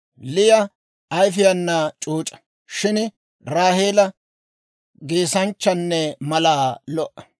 Liya ayfiyaana c'uuc'a; shin Raaheela geesanchanne malaa lo"a.